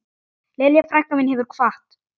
Lilja frænka mín hefur kvatt.